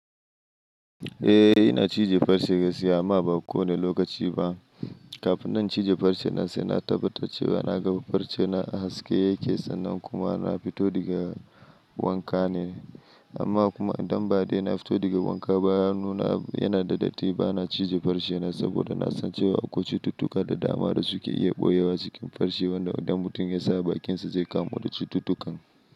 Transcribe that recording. Eh ina cije farce gaskiya amma ba kowane lokaci ba. Kafin na cije farce na sai na tabbatar cewa na ga farce na a haske yake sannan kuma na fito daga wanka ne. Amma kuma idan ba dai na fito daga wanka ba, ya nuna yana da datti ba na cije farce na saboda na san cewa akwai cututtuka da dama da suke iya ɓoyewa cikin farce wanda idan mutum ya sa bakinsa zai kamu da cututtukan.